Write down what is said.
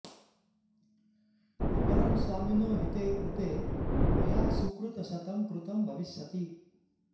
अपरं स्वामिनो हिते कृते मया सुकृतशतं कृतं भविष्यति